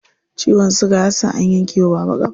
Ciwon siga ya sa an yanke wa baba ƙafa.